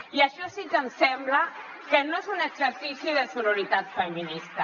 i això sí que em sembla que no és un exercici de sororitat feminista